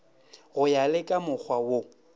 go ya le kamokgwa wo